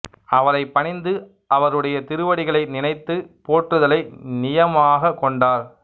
அவரைப் பணிந்து அவருடைய திருவடிகளை நினைந்து போற்றுதலை நியமமாகக் கொண்டார்